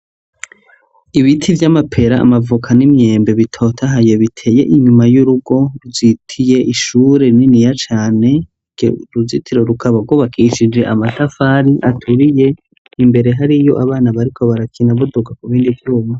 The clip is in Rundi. Ibiti vy'amapera, amavuka n'imyembe bitotahaye biteye inyuma y'urugo vyitiye ishure niniya cane , ugwo uruzitiro rukaba gwubakishije amatafari aturiye ,imbere hariyo abana bariko barakina buduga kubindi vyuma.